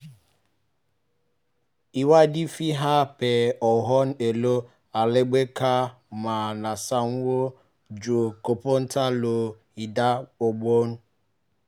ìwádìí fi hàn pé ohun èlò alágbèéká máa ń sanwó ju kọ̀ǹpútà lọ ní ìdá ọgbọ̀n